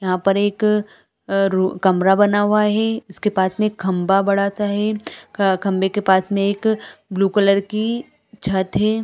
यहाँ पर एक आ रु कमरा बना हुआ है इसके पास में खम्बा बड़ा सा है खम्बे के पास में एक ब्लू कलर की छत हैं ।